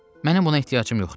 Mənim buna ehtiyacım yoxdur.